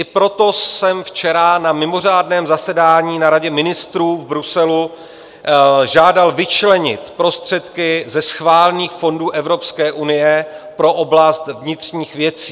I proto jsem včera na mimořádném zasedání na Radě ministrů v Bruselu žádal vyčlenit prostředky ze schválených fondů Evropské unie pro oblast vnitřních věcí.